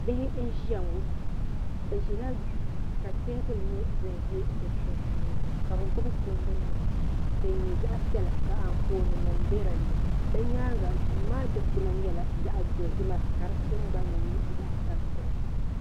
Bihi n ʒia ŋɔ bɛ ʒila duu ka teebuli nyɛ din ʒɛ di sunsuuni ka bɛ gbibi kundu nima din nyɛ zaɣa piɛla ka Anfooni nima be dinni bɛ nyaanga duu maa dikpina nyɛla zaɣa dozima ka di tingbanni nyɛ zaɣa tampilim.